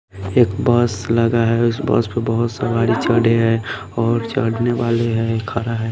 एक बस लगा है उस बस पर बहुत सवारी चढ़े हैं और चढ़ने वाले हैं एक खड़ा है।